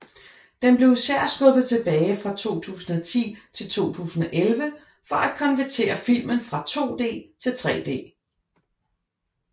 Den blev især skubbet tilbage fra 2010 til 2011 for at konvertere filmen fra 2D til 3D